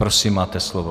Prosím, máte slovo.